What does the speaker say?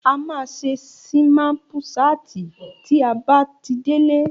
A máa ṣe sínápùsaatì tí a bá tí délé